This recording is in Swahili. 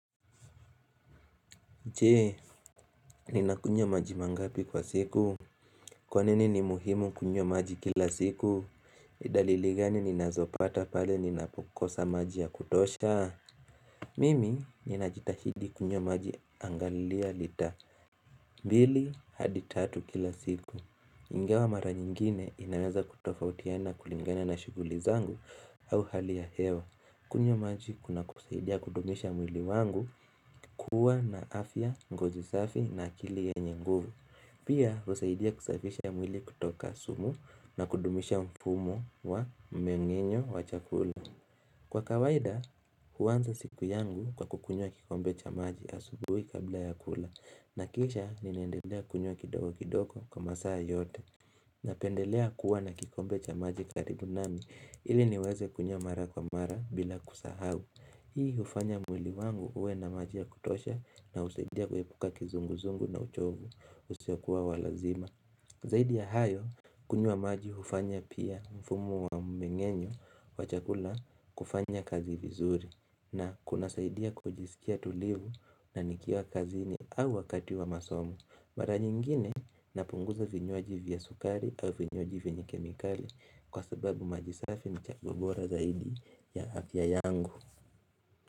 Jee, ninakunywa maji mangapi kwa siku? Kwanini ni muhimu kunywa maji kila siku? Ni dalili gani ninazopata pale ninapokosa maji ya kutosha? Mimi ninajitahidi kunywa maji angalia lita mbili hadi tatu kila siku. Ingawa mara nyingine inaweza kutofautiana kulingana na shuguli zangu au hali ya hewa. Kunywa maji kunasaidia kudumisha mwili wangu kuwa na afya ngozi safi na akili yenye nguvu. Pia kusaidia kusafisha mwili kutoka sumu na kudumisha mpumo wa mmenginyo wa chakula. Kwa kawaida huanza siku yangu kwa kukunyo kikombe cha maji asubui kabla ya kula na kisha ninaendelea kunywa kidogo kidogo kwa masaa yote. Napendelea kuwa na kikombe cha maji karibu nami ili niweze kunywa mara kwa mara bila kusahau Hii hufanya mwili wangu uwe na maji ya kutosha na husaidia kuepuka kizunguzungu na uchovu usio kua wa lazima Zaidi ya hayo kunyuwa maji hufanya pia mfumu wa mmengenyo wa chakula kufanya kazi vizuri na kuna saidia kujisikia tulivu na nikiwa kazi ni au wakati wa masomo Mara nyingine napunguza vinywaji vya sukari au vinywaji vyenye kemikali kwa sababu majisafi ni chaguo bora zaidi ya afya yangu.